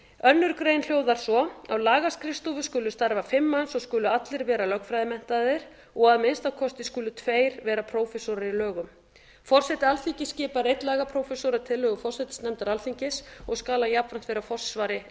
önnur grein hljóðar svo á lagaskrifstofu skulu starfa fimm manns og skulu allir vera lögfræðimenntaðir og að minnsta kosti tveir skulu vera prófessorar í lögum forseti alþingis skipar einn lagaprófessor að tillögu forsætisnefndar alþingis og skal hann jafnframt vera í forsvari